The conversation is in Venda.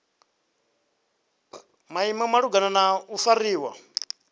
maimo malugana na u fariwa